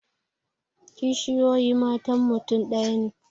Kishiyoyi matan mutum ɗaya ne